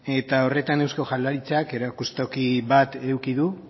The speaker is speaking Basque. eta horretan eusko jaurlaritzak erakustoki bat eduki du